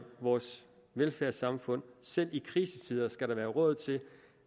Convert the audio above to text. vores velfærdssamfund selv i krisetider skal der være råd til